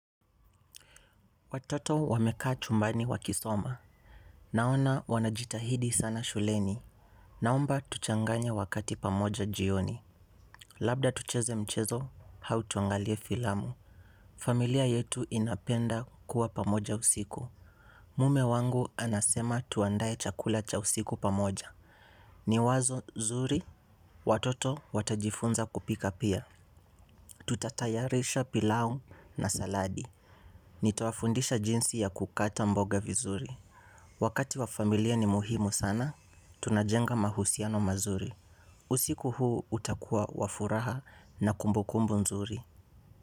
Watoto wamekaa chumbani wakisoma. Naona wanajitahidi sana shuleni. Naomba tuchanganye wakati pamoja jioni. Labda tucheze mchezo, hau tuangalie filamu. Familia yetu inapenda kuwa pamoja usiku. Mume wangu anasema tuandaye chakula cha usiku pamoja. Ni wazo zuri. Watoto watajifunza kupika pia. Tutatayarisha pilau na saladi. Nitawafundisha jinsi ya kukata mboga vizuri. Wakati wa familia ni muhimu sana, tunajenga mahusiano mazuri. Usiku huu utakua wafuraha na kumbu kumbu nzuri.